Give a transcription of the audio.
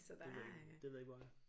Det ved det ved jeg ikke hvor er